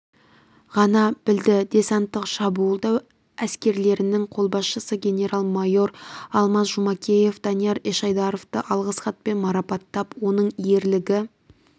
ғана білді десанттық-шабуылдау әскерлерінің қолбасшысы генерал-майор алмаз жұмакеев данияр ешайдаровты алғыс хатпен марапаттап оның ерлігі